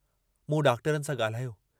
मूं डॉक्टरनि सां गाल्हायो।